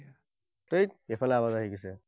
থেইত, এইফালে আৱাজ আহি গৈছে।